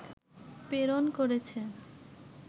প্রেরণ করেছে